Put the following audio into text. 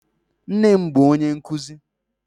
Nne m bụ onye nkuzi.